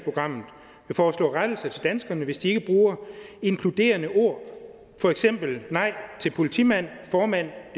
foreslå rettelser til danskerne hvis de ikke bruger inkluderende ord for eksempel nej til politimand formand